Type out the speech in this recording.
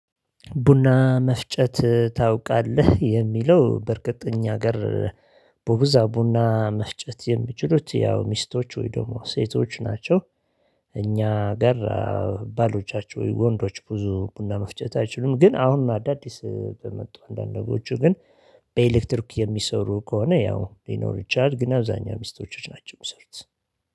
ቡና መፍጨት ታውቃለህ የሚለው በእርግጠኛ እኛ ሀገር በብዛት ቡና መፍጨት የሚችሉት ያው ሚስቶች ወይ ደግሞ ሴቶች ናቸው። እኛ ጋር ባሎቻቸው ወንዶች ብዙ ቡና መፍጨት አይችሉም። ግን አሁን አዳዲስ በመጡ አንዳንዶቹ ግን በኤሌክትሪክ የሚሰሩ ከሆነ ያው ሊኖር ይችላል። ግን አብዛኛው ሚስቶች ናቸው የሚሰሩት።